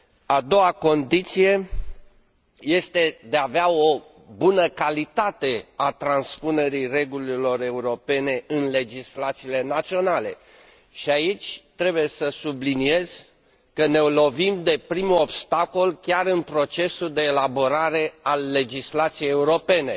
A doua condiție este de a avea o bună calitate a transpunerii normelor europene în legislațiile naționale și aici trebuie să subliniez că ne lovim de primul obstacol chiar în procesul de elaborare a legislației europene.